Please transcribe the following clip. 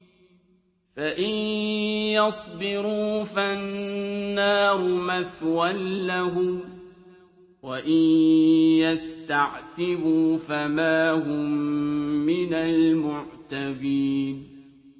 فَإِن يَصْبِرُوا فَالنَّارُ مَثْوًى لَّهُمْ ۖ وَإِن يَسْتَعْتِبُوا فَمَا هُم مِّنَ الْمُعْتَبِينَ